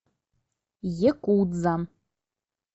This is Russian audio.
якудза